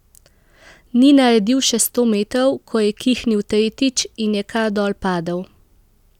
Ni naredil še sto metrov, ko je kihnil tretjič, in je kar dol padel.